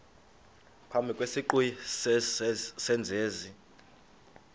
phambi kwesiqu sezenzi